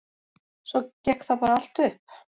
Svo gekk það bara allt upp.